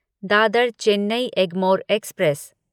Dadar Chennai Egmore express